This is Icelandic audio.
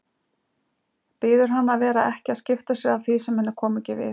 Biður hana að vera ekki að skipta sér af því sem henni komi ekki við.